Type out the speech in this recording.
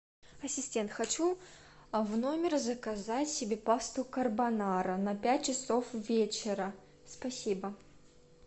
ассистент хочу в номер заказать себе пасту карбонара на пять часов вечера спасибо